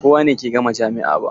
Ba kowane ke gama jami'a ba.